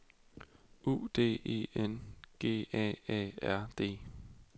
U D E N G A A R D